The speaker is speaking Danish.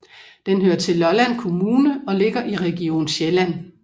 Den hører til Lolland Kommune og ligger i Region Sjælland